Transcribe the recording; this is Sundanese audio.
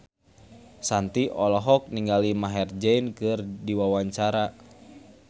Shanti olohok ningali Maher Zein keur diwawancara